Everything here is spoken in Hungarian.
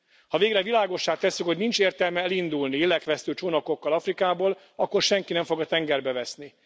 Ha végre világossá tesszük, hogy nincs értelme elindulni lélekvesztő csónakokkal Afrikából, akkor senki nem fog a tengerbe veszni.